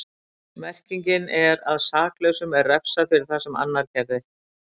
Merkingin er að saklausum er refsað fyrir það sem annar gerði.